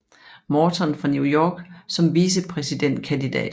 Morton fra New York som vicepræsidentkandidat